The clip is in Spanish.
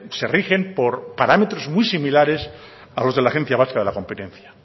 se rigen por parámetros muy similares a los de la agencia vasca de la competencia